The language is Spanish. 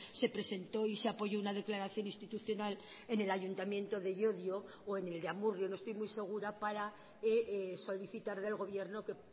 se presentó y se apoyó una declaración institucional en el ayuntamiento de llodio o en el de amurrio no estoy muy segura para solicitar del gobierno que